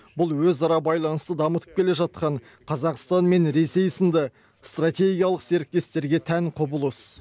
бұл өзара байланысты дамытып келе жатқан қазақстан мен ресей сынды стратегиялық серіктестерге тән құбылыс